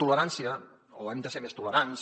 tolerància o hem de ser més tolerants